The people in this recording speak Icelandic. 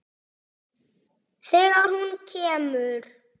Þegar hún kemur.